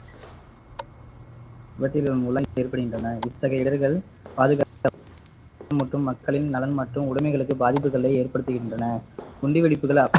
இவற்றின் மூலம் ஏற்படுகின்றன இத்தகைய இடர்கள் பாதுகாக்க மற்றும் மக்களின் நலம் மற்றும் உடமைகளுக்கு பாதிப்புகளை ஏற்படுத்துகின்றன குண்டு வெடிப்புகள்